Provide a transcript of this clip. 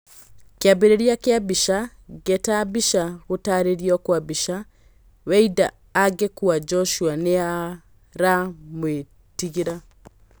Kĩambĩrĩria kĩa mbica, Ngeta Mbica Gũtarĩrio kwa mbica, Weinda agekũa Njoshua nĩaramwĩtigĩra.